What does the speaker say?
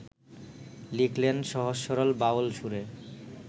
লিখলেন সহজ-সরল বাউল সুরে